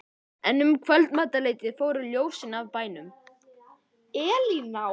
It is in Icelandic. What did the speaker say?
En um kvöldmatarleytið fóru ljósin af bænum.